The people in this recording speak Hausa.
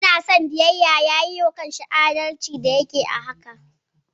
Ina son biyayyar, ya yiwa kansa adalci da yake ɗabi'a haka.